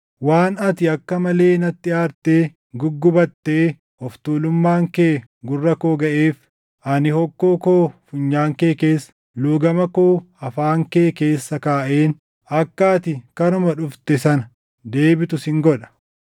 Waan ati akka malee natti aartee guggubattee of tuulummaan kee gurra koo gaʼeef, ani hokkoo koo funyaan kee keessa, luugama koo afaan kee keessa kaaʼeen akka ati karuma dhufte sana deebitu sin godha.’